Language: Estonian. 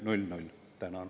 Tänan!